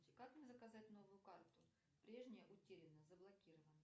как мне заказать новую карту прежняя утеряна заблокирована